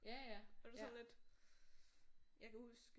Og det er sådan lidt jeg kan huske